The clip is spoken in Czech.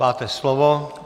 Máte slovo.